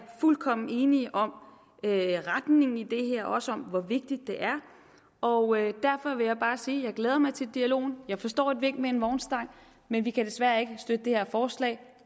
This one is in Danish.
fuldkommen enige om retningen i det her også om hvor vigtigt det er og derfor vil jeg bare sige at jeg glæder mig til dialogen og jeg forstår et vink med en vognstang men vi kan desværre ikke støtte det her forslag